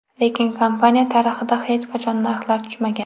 Lekin kompaniya tarixida hech qachon narxlar tushmagan.